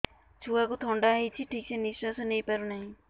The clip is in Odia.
ଛୁଆକୁ ଥଣ୍ଡା ହେଇଛି ଠିକ ସେ ନିଶ୍ୱାସ ନେଇ ପାରୁ ନାହିଁ